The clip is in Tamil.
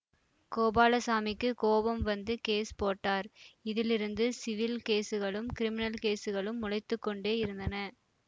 கோபாலசாமிக்குக் கோபம் வந்து கேஸ் போட்டார் இதிலிருந்து சிவில் கேஸுகளும் கிரிமினல் கேஸுகளும் முளைத்து கொண்டே இருந்தன